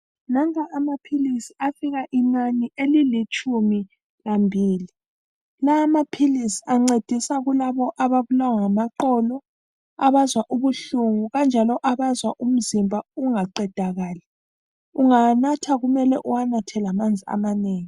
Nanka amaphilisi afika inani elilitshumi lambili. Lawa amaphilisi ancedisa kulabo ababulawa ngamaqolo, abazwa ubuhlungu kanjalo abazwa umzimba ungaqedakali. Ungawanatha kumele uwanathe lamanzi amanengi.